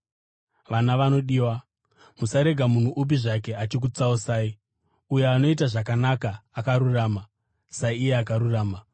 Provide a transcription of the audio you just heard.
Vana vanodiwa, musarega munhu upi zvake achikutsausai. Uyo anoita zvakanaka, akarurama, saiye akarurama.